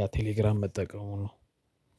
ያ ቴሌግራም መጠቀሙ ነው።